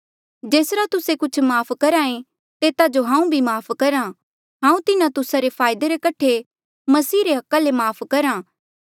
जेसरा तुस्से कुछ माफ़ करहा ऐें तेता जो हांऊँ भी माफ़ करहा हांऊँ तिन्हो तुस्सा रे फायदे रे कठे मसीह रे अधिकारा ले माफ़ करहा